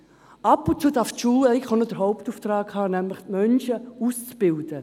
Ab und zu darf die Schule auch noch ihrem Hauptauftrag nachgehen, nämlich Menschen auszubilden.